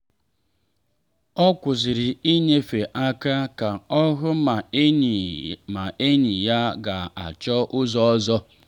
o kwụsịrị inyefe aka ka ọ hụ ma enyi ma enyi ya ga achọ ụzọ ọzọ.